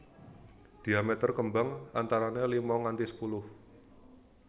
Diameter kembang antarané lima nganti sepuluh